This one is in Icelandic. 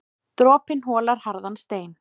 Dropinn holar harðan stein.